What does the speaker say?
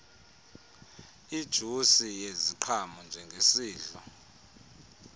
ijusi yeziqhamo njengesidlo